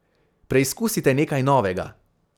Preizkusite nekaj novega.